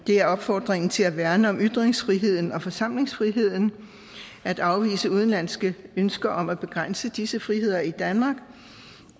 er opfordringen til at værne om ytringsfriheden og forsamlingsfriheden at afvise udenlandske ønsker om at begrænse disse friheder i danmark